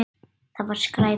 Það var skræpa.